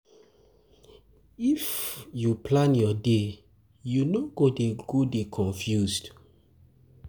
If um you plan your day, you no go dey go dey confused.